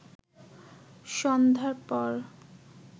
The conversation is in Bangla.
সন্ধ্যার পর